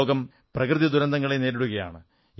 ലോകം പ്രകൃതിദുരന്തങ്ങളെ നേരിടുകയാണ്